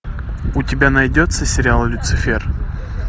у тебя найдется сериал люцифер